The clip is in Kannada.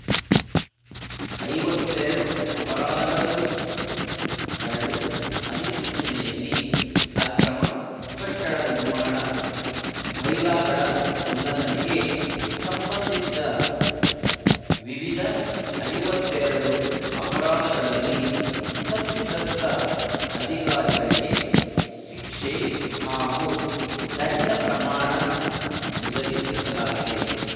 ಐವತ್ತೆರಡು ಅಪರಾಧಗಳ ಗುರುತು ಕರಡು ಅಧಿಸೂಚನೆಯಲ್ಲಿ ಅಕ್ರಮ ಕಟ್ಟಡ ನಿರ್ಮಾಣ ಬೈಲಾಗಳ ಉಲ್ಲಂಘನೆಗೆ ಸಂಬಂಧಿಸಿದ ವಿವಿಧ ಐವತ್ತೆರಡು ಅಪರಾಧಗಳಲ್ಲಿ ತಪ್ಪಿತಸ್ಥ ಅಧಿಕಾರಿಗಳಿಗೆ ಶಿಕ್ಷೆ ಹಾಗೂ ದಂಡ ಪ್ರಮಾಣ ನಿಗದಿಪಡಿಸಲಾಗಿದೆ